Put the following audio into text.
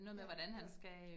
Ja, ja